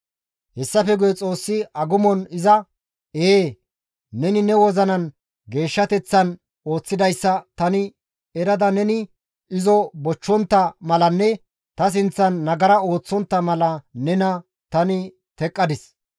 Hessafe guye Xoossi agumon izas, «Ee, neni ne wozina geeshshateththan ooththidayssa tani erada neni izo bochchontta malanne ta sinththan nagara ooththontta mala nena tani teqqadis.